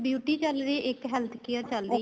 beauty ਚੱਲ ਰਹੀ ਏ ਇੱਕ health care ਚੱਲ